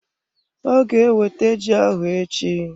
Ọ ga ewete ji ahụ echi.